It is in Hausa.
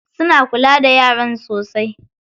Suna kula da yaran sosai.